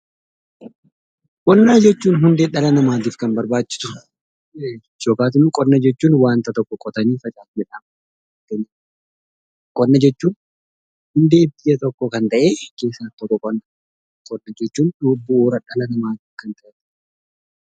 Qonnaa jechuun hundee dhala namaaf kan barbaachisuu dha. Yookiin immoo qonna jechuun waan tokko qotanii facaasuu jechuu dha. Qonna jechuun hundee biyya tokkoo keessaa tokko kan ta'ee dha. Qonna jechuun dhala namaaf kan barbaachisuu dha.